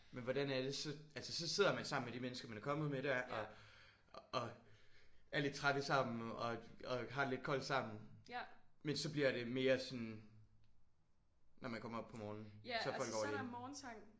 Men hvordan er det? Så altså så sidder man sammen med de mennesker man er kommet med der? Og og er lidt trætte sammen og og har det lidt koldt sammen? Men så bliver det mere sådan når man kommer op på morgenen så er der folk over det hele?